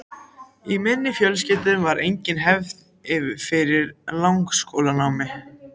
Í minni fjölskyldu var engin hefð fyrir langskólanámi.